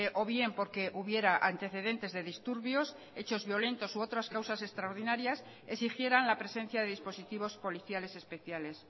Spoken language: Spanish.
o bien porque hubiera antecedentes de disturbios hechos violentos u otras causas extraordinarias exigieran la presencia de dispositivos policiales especiales